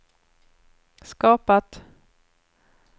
skapat